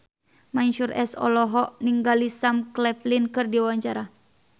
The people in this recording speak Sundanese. Mansyur S olohok ningali Sam Claflin keur diwawancara